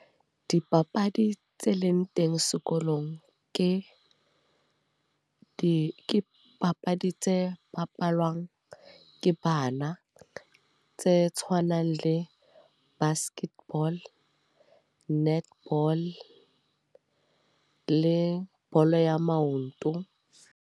Dipapadi tse leng teng sekolong. Ke di, ke papadi tse bapalwang ke bana. Tse tshwanang le basket ball, netball, le bolo ya maoto.